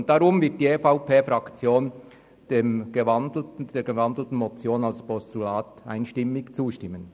Deshalb wird die EVP-Fraktion der in ein Postulat gewandelten Motion einstimmig zustimmen.